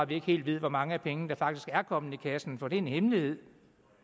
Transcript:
vi ikke helt hvor mange af pengene der faktisk er kommet i kassen for det er en hemmelighed